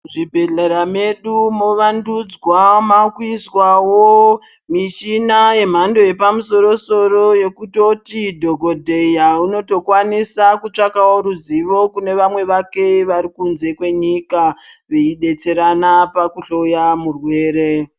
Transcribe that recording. Zvibhedhlera medu mowandudzwa makuiswawo mushina yemhando yepamusoro soro yekutoti dhokodheya unotokwanisa kutsvakawo ruzivo kune vamwe vake vari kunze kwenyika veidetserana pakuhloya murwere.